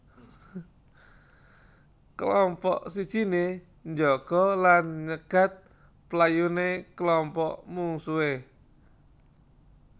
Klompok sijiné njaga lan nyegat playuné klompok mungsuhé